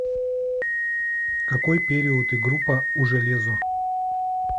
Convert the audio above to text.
какой период и группа у железо